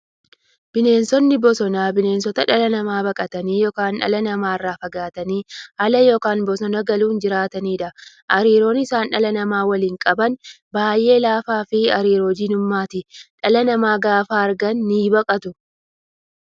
Bineensonni bosonaa bineensota dhala namaa baqatanii yookiin dhala namaa irraa fagaatanii ala yookiin bosona galuun jiraataniidha. Hariiroon isaan dhala namaa waliin qaban baay'ee laafaafi hariiroo diinummaati. Dhala namaa gaafa argan nibaqatu.